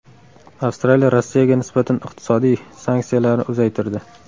Avstraliya Rossiyaga nisbatan iqtisodiy sanksiyalarni uzaytirdi.